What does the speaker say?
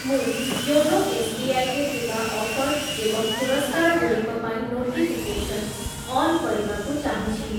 ମୁଁ YONO SBI ରେ ଥିବା ଅଫର୍‌ ଏବଂ ପୁରସ୍କାରଗୁଡ଼ିକ ପାଇଁ ନୋଟିଫିକେସନ୍‌ ଅନ୍ କରିବାକୁ ଚାହୁଁଛି ।